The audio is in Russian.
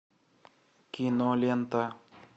кинолента